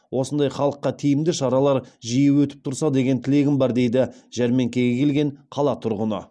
осындай халыққа тиімді шаралар жиі өтіп тұрса деген тілегім бар дейді жәрмеңкеге келген қала тұрғыны